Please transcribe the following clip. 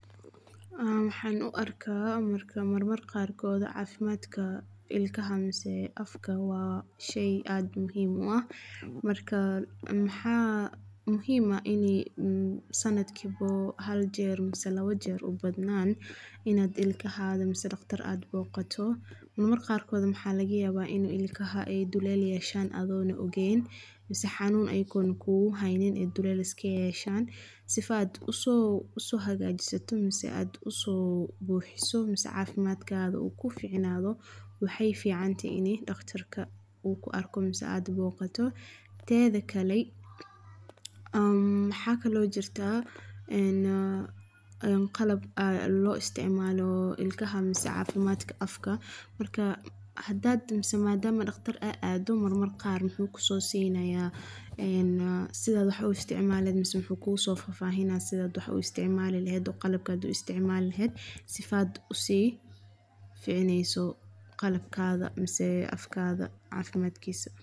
Waxan u arka mar marka qarkod cafimadka ilkaha mise afka waa shey aad u muhim u ah, marka waxa muhim ah ini sanadki hal jeer mise labo jeer inad dhaqtar boqato. Marmar qarkod waxa laga yaba iney ilkaha duleel yeeshan adigo o ogeen mise xanuun ayago kugu haynin iney duleel yeeshan, si aad u soo hagaajiso ama u soo buxiso waxa fican inad daqtarka boqato. Teda kale maxa kalo jirto qalab lo isticmalo ilkaha mise cafimadka afka, hadad aad daqtar wuxu ku soo sinaya sidat wax u isticmaali leheed, mise wuxu ku soo sini qalabka isticmali leheed si aad u sii ficaneyso qalabkaga ama afkaga cafimadkisa.